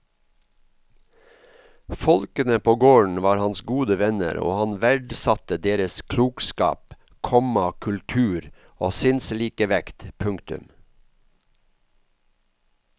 Folkene på gården var hans gode venner og han verdsatte deres klokskap, komma kultur og sinnslikevekt. punktum